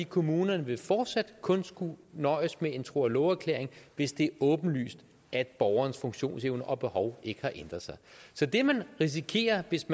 kommunerne vil fortsat kun skulle nøjes med en tro og love erklæring hvis det er åbenlyst at borgerens funktionsevne og behov ikke har ændret sig så det man risikerer hvis